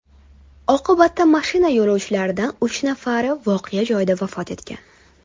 Oqibatda mashina yo‘lovchilaridan uch nafari voqea joyida vafot etgan.